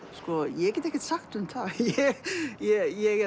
ég get ekkert sagt um það ég